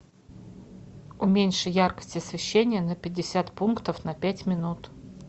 уменьши яркость освещения на пятьдесят пунктов на пять минут